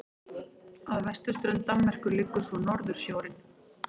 Að vesturströnd Danmerkur liggur svo Norðursjórinn.